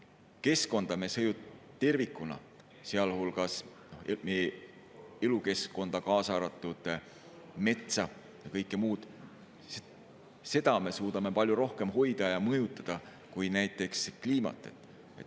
Keskkonda tervikuna, sealhulgas meie elukeskkonda, kaasa arvatud metsa ja kõike muud, me suudame palju rohkem hoida ja mõjutada kui näiteks kliimat.